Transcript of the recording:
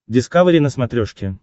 дискавери на смотрешке